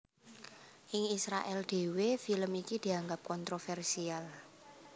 Ing Israèl dhéwé film iki dianggep kontrovèrsial